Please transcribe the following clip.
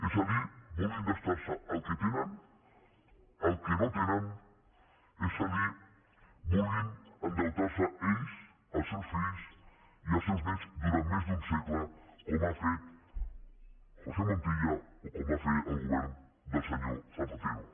és a dir vulguin gastar se el que no tenen és a dir vulguin endeutar se ells els seus fills i els seus néts durant més d’un segle com ha fet josé montilla o com va fer el govern del senyor zapatero